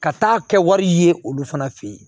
Ka taa kɛ wari ye olu fana fe yen